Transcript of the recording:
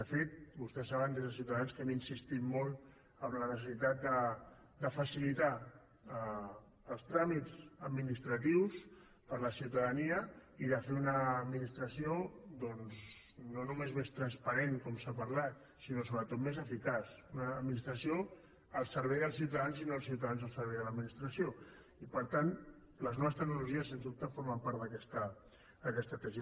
de fet vostès saben des de ciutadans que hem insistit molt en la necessitat de facilitar els tràmits administratius per a la ciutadania i de fer una administració doncs no només més transparent com s’ha parlat sinó sobretot més eficaç una administració al servei dels ciutadans i no els ciutadans al servei de l’administració i per tant les noves tecnologies sens dubte formen part d’aquesta tesi